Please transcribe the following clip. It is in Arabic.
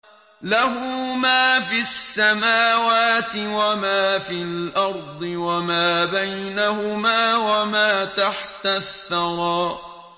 لَهُ مَا فِي السَّمَاوَاتِ وَمَا فِي الْأَرْضِ وَمَا بَيْنَهُمَا وَمَا تَحْتَ الثَّرَىٰ